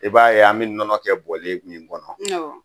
I b'a ye an bɛ nɔnɔ kɛ bɔlen min kɔnɔ